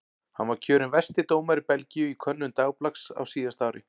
Hann var kjörinn versti dómari Belgíu í könnun dagblaðs á síðasta ári.